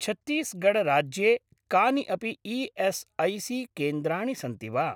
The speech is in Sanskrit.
छत्तीसगढ् राज्ये कानि अपि ई.एस्.ऐ.सी.केन्द्राणि सन्ति वा?